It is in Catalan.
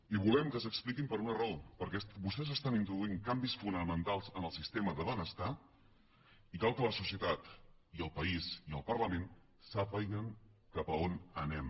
i volem que s’expliquin per una raó perquè vostès estan introduint canvis fonamentals en el sistema de benestar i cal que la societat i el país i el parlament sàpiguen cap a on anem